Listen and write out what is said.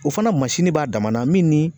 O fana b'a dama na min ni